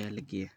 aya lageyaa.